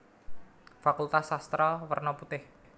Fakultas Sastra werna putih